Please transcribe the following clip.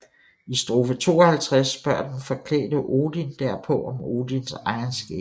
I strofe 52 spørger den forklædte Odin derpå om Odins egen skæbne